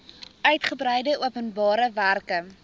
uigebreide openbare werke